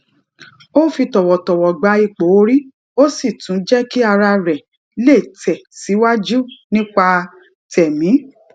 ó fi tòwòtòwò gba ipò orí ó sì tún jé kí ara rè lè tè síwájú nípa tèmí